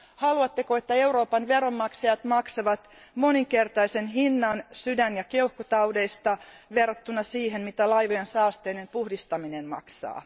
Haluatteko, että Euroopan veronmaksajat maksavat moninkertaisen hinnan sydän ja keuhkotaudeista verrattuna siihen, mitä laivojen saasteiden puhdistaminen maksaa?